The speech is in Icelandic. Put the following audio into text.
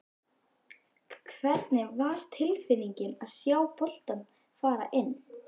Hvernig var tilfinningin að sjá boltann fara inn?